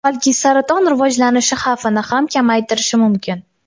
balki saraton rivojlanishi xavfini ham kamaytirishi mumkin.